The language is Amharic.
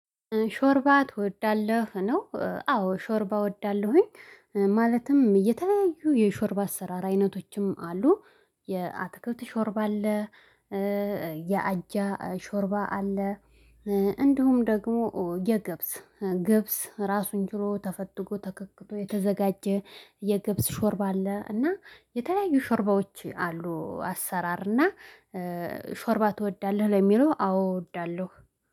ሾርባ ትወዳለሁ ነው አዎ ሾርባ እወዳለሁኝ። ማለትም የተለያዩ የሾርባ አሰራ አይነቶችም አሉ። የአትክልት ሾርብ አለ። የአጃ ሾርባ አለ። እንዲሁም ደግሞ የገብስ ገብስ ራሱን ችሎ ተፈትጎ ተክክቶ የተዘጋጀ የገብስ ሾርባ አለ። እና የተለያዩ ሾርባዎች አሉ። አሰራር እና ሾርባ ትወዳለህ ለሚለው አዎ እወዳለሁ